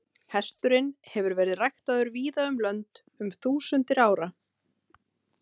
Hesturinn hefur verið ræktaður víða um lönd um þúsundir ára.